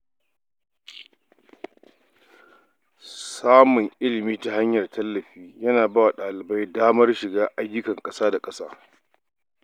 Samun ilimi ta hanyar tallafi yana ba wa dalibai damar shiga ayyukan ƙasa da ƙasa.